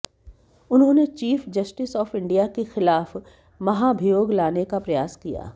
उन्होंने chief justice of India के खिलाफ महाभियोग लाने का प्रयास किया